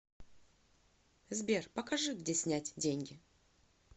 сбер покажи где снять деньги